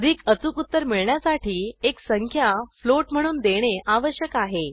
अधिक अचूक उत्तर मिळण्यासाठी एक संख्या फ्लोट म्हणून देणे आवश्यक आहे